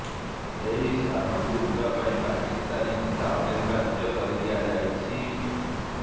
ଏହି ସ୍ଥାନକୁ ଯିବା ପାଇଁ ପାକିସ୍ଥାନୀ ଭିଜା ଅନିବାର୍ଯ୍ୟ କରି ଦିଆଯାଇଛି